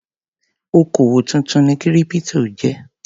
Òkòwò tuntun ni kírípítò jẹ́.